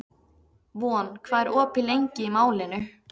Von, hvað er opið lengi í Málinu?